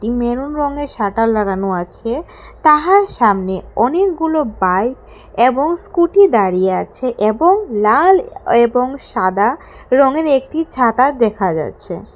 এই মেরুন রঙের শাটার লাগানো আছে তাহার সামনে অনেকগুলো বাইক এবং স্কুটি দাঁড়িয়ে আছে এবং লাল এবং সাদা রঙের একটি ছাতা দেখা যাচ্ছে।